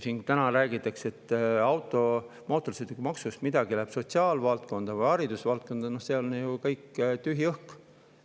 Täna räägitakse, et mootorsõidukimaksust läheb midagi sotsiaalvaldkonda või haridusvaldkonda, aga see on ju kõik tühi.